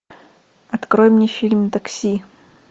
открой мне фильм такси